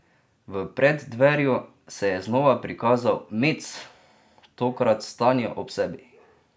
V preddverju se je znova prikazal Mets, tokrat s Tanjo ob sebi.